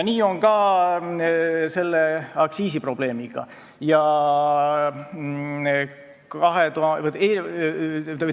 Nii on ka selle aktsiisiprobleemiga.